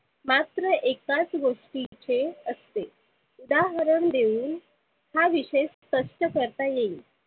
मात्र एकाच गोष्टीचे असते. उदाहरण देऊन हा विषय स्पष्ट करता येईल.